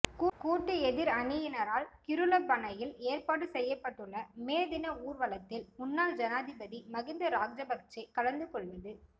கூட்டு எதிரணியினரால் கிருளப்பனையில் ஏற்பாடு செய்யப்பட்டுள்ள மே தின ஊர்வலத்தில் முன்னாள் ஜனாதிபதி மகிந்த ராஜபக்ச கலந்து கொள்வது